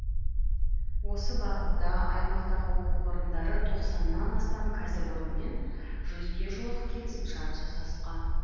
осы бағытта аймақтағы оқу орындары тоқсаннан астам кәсіпорынмен жүзге жуық келісімшарт жасасқан